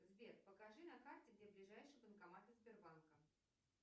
сбер покажи на карте где ближайшие банкоматы сбербанка